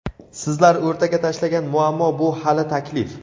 Sizlar o‘rtaga tashlagan muammo bu – hali taklif.